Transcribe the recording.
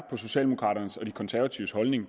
på socialdemokraternes og de konservatives holdning